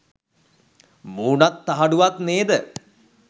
මූනත් තහඩුවත් නේද.